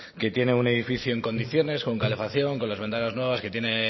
que tiene un edificio en condiciones con calefacción con las ventanas nuevas que tiene